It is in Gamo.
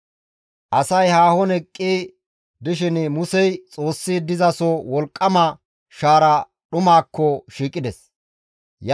Asay haahon eqqi dishin Musey Xoossi dizaso wolqqama shaara dhumaakko shiiqides.